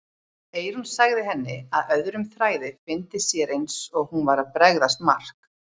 Eyrún sagði henni að öðrum þræði fyndist sér eins og hún væri að bregðast Mark.